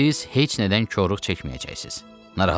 Siz heç nədən korluq çəkməyəcəksiz, narahat olmayın.